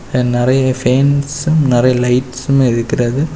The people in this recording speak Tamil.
இங்க நறைய பேன்ஸும் நறைய லைட்சும் இருக்கிறது.